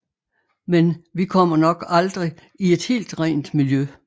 Men vi kommer nok aldrig i et helt rent miljø